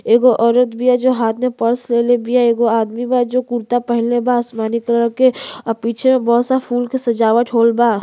एगो औरत बिया जो हाथ मे पर्स ले ले बिया। एगो आदमी बा जो कुरता पहिनले बा आसमानी कलर के आ पीछे में बहोत सारा फूल के सजावट होएल बा।